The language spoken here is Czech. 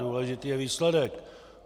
Důležitý je výsledek.